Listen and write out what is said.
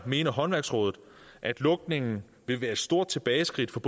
mener håndværksrådet at lukningen vil være et stort tilbageskridt for